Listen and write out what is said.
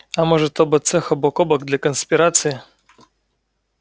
а может оба цеха бок о бок для конспирации